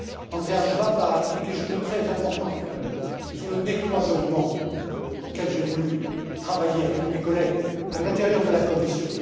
Andreas Schwab a dit quelque chose de très important tout à l'heure sur le décloisonnement, auquel j'ai voulu travailler avec mes collègues à l'intérieur de la Commission.